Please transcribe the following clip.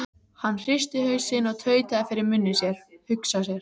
Hann hristi hausinn og tautaði fyrir munni sér: Hugsa sér.